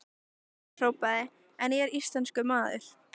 Hann hrópaði: En ég er íslenskur maður!